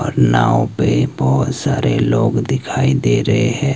नाव पे बहोत सारे लोग दिखाई दे रहे है।